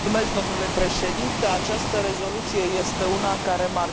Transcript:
Această rezoluție este una care marchează un debut.